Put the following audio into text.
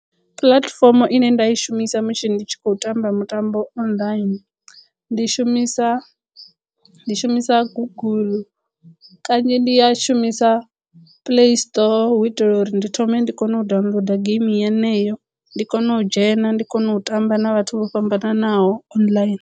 Puḽatifomo ine nda i shumisa musi ndi tshi khou tamba mutambo online ndi shumisa ndi shumisa guguḽu kanzhi ndi ya shumisa play store hu itela uri ndi thome ndi kono u downloader geimi yeneyo ndi kono u dzhena ndi kono u tamba na vhathu vho fhambananaho online.